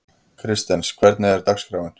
Kristens, hvernig er dagskráin?